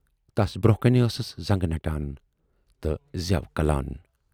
تَس برونہہ کَنہِ آسٕس زَنگہٕ نَٹان تہٕ زٮ۪و کلان۔